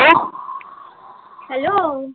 hello